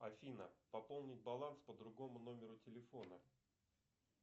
афина пополнить баланс по другому номеру телефона